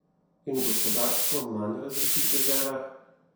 In v gospodarsko manj razvitih deželah?